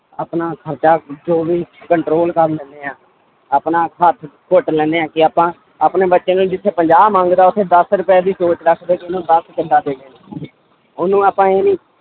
ਆਪਣਾ ਖ਼ਰਚਾ ਜੋ ਵੀ control ਕਰ ਲੈਂਦੇ ਹਾਂ, ਆਪਣਾ ਹੱਥ ਘੁੱਟ ਲੈਂਦੇ ਹਾਂ ਕਿ ਆਪਾਂ ਆਪਣੇ ਬੱਚੇ ਨੂੰ ਜਿੱਥੇ ਪੰਜਾਹ ਮੰਗਦਾ ਉੱਥੇ ਦਸ ਰੁਪਏ ਉਹਨੂੰ ਆਪਾਂ ਇਹ ਨੀ